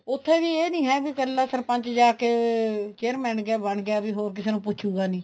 ਉੱਥੇ ਵੀ ਇਹ ਨਹੀਂ ਹੈ ਕੀ ਇੱਕਲਾ ਸਰਪੰਚ ਜਾਕੇ chairman ਬਣ ਗਿਆ ਵੀ ਹੋਰ ਕਿਸੇ ਨੂੰ ਪੁੱਛੂਗਾ ਨਹੀਂ